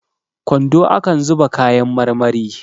kwando akan zuba kayan marmari